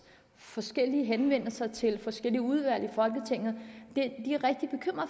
forskellige henvendelser til forskellige udvalg i folketinget